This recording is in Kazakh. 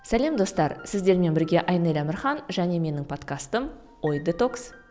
сәлем достар сіздермен бірге айнель әмірхан және менің подкастым ой детокс